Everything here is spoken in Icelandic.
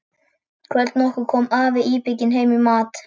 Kvöld nokkurt kom afi íbygginn heim í mat.